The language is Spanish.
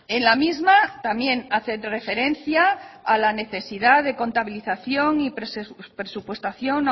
en la misma también hace referencia a la necesidad de contabilización y presupuestación